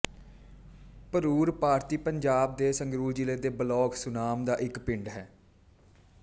ਭਰੂਰ ਭਾਰਤੀ ਪੰਜਾਬ ਦੇ ਸੰਗਰੂਰ ਜ਼ਿਲ੍ਹੇ ਦੇ ਬਲਾਕ ਸੁਨਾਮ ਦਾ ਇੱਕ ਪਿੰਡ ਹੈ